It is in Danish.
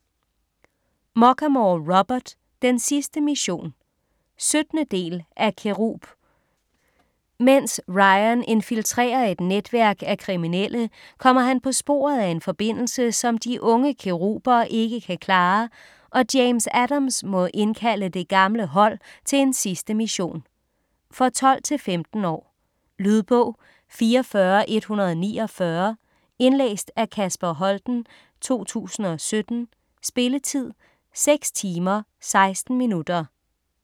Muchamore, Robert: Den sidste mission 17. del af Cherub. Mens Ryan infiltrerer et netværk af kriminelle kommer han på sporet af en forbindelse som de unge Cheruber ikke kan klare, og James Adams må indkalde det gamle hold til en sidste mission. For 12-15 år. Lydbog 44149 Indlæst af Kasper Holten, 2017. Spilletid: 6 timer, 16 minutter.